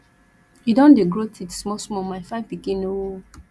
he don dey grow teeth small small my fine pikin oo